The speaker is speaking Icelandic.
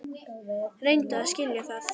Reyndu að skilja það.